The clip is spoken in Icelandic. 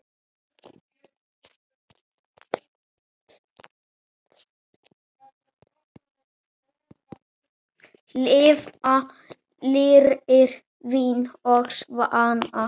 Lifa fyrir vín og svanna.